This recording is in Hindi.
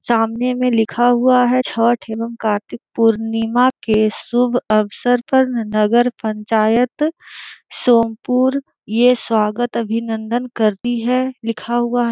सामने में लिखा हुआ है छठ एवं कार्तिक पूर्णिमा के शुभ अवसर पर नगर पंचायत सोमपुर ये स्वागत अभीनंदन करती है लिखा हुआ है।